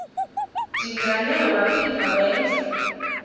dingane waphinda wenza